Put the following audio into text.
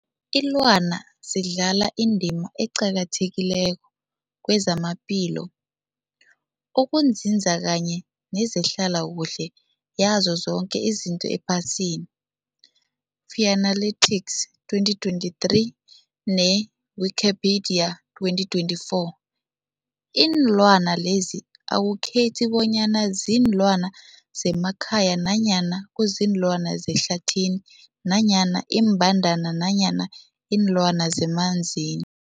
Ilwana zidlala indima eqakathekileko kezamaphilo, ukunzinza kanye nezehlala kuhle yazo zoke izinto ephasini, Fuanalytics 2023, ne-Wikipedia 2024. Iinlwana lezi akukhethi bonyana ziinlwana zemakhaya nanyana kuziinlwana zehlathini nanyana iimbandana nanyana iinlwana zemanzini.